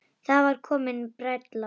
Það var komin bræla.